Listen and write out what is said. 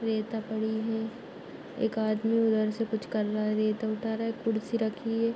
रेता पड़ी है एक आदमी उधर से कुछ कर रहा है रेता उठा रहा है। कुर्सी रखी है।